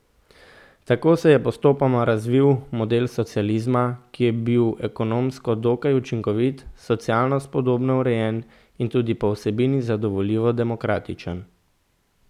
Tako se je postopoma razvil model socializma, ki je bil ekonomsko dokaj učinkovit, socialno spodobno urejen in tudi po vsebini zadovoljivo demokratičen.